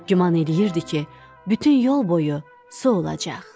Güman eləyirdi ki, bütün yol boyu su olacaq.